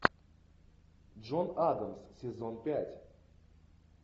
джон адамс сезон пять